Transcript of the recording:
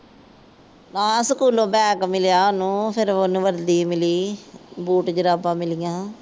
ਹਾਂ ਸਕੂਲੋਂ ਬੈਗ ਮਿਲਿਆ ਉਹਨੂੰ। ਫੇਰ ਉਹਨੂੰ ਵਰਦੀ ਮਿਲੀ। ਬੂਟ ਜਰਾਬਾਂ ਮਿਲੀਆਂ।